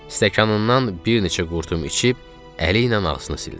Stəkanından bir neçə qurtum içib əliylə ağzını sildi.